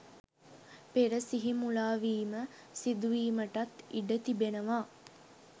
පෙර සිහි මුලාවීම සිදුවීමටත් ඉඩ තිබෙනවා.